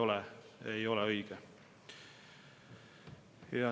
See lihtsalt ei ole õige.